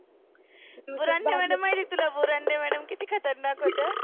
Burande madam माहिती आहे का तुला? बुरांडे madam किती खतरनाक होत्या .